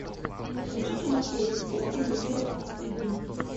включи кино сверхъестественное серия тридцать один